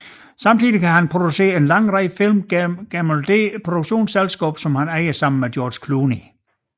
Samtidigt har han produceret en lang række film gennem det produktionsselskab han ejer sammen med George Clooney